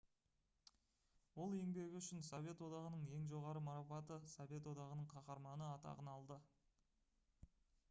ол еңбегі үшін совет одағының ең жоғары марапаты «совет одағының қаһарманы» атағын алды